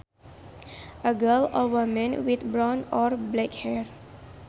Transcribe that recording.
A girl or woman with brown or black hair